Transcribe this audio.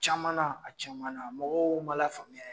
Caman na a caman na mɔgɔw maa lafaamuya ye